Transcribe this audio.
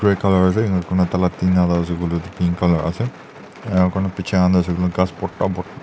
ase ena kona tala tena la ase kole tuh pink colour ase enka kona bechae khan tuh ase kole ghas bhorta bhor.